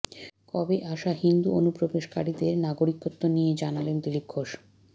কবে আসা হিন্দু অনুপ্রবেশকারীদের নাগরিকত্ব নিয়ে জানালেন দিলীপ ঘোষ